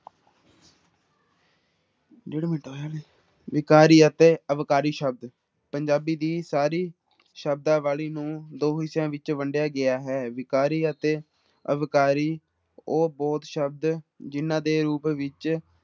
ਵਿਕਾਰੀ ਅਤੇ ਅਵਿਕਾਰੀ ਸ਼ਬਦ ਪੰਜਾਬੀ ਦੀ ਸਾਰੀ ਸ਼ਬਦਾਵਲੀ ਨੂੰ ਦੋ ਹਿੱਸਿਆਂ ਵਿੱਚ ਵੰਡਿਆ ਗਿਆ ਹੈ, ਵਿਕਾਰੀ ਅਤੇ ਅਵਿਕਾਰੀ ਉਹ ਬੋਧ ਸ਼ਬਦ ਜਿਹਨਾਂ ਦੇ ਰੂਪ ਵਿੱਚ